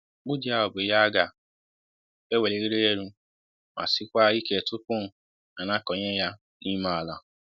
mkpu ji ahụ bụ Ihe a ga ē welirịrị élú ma si kwa ike tupu a na kọ nye ya n'ime ala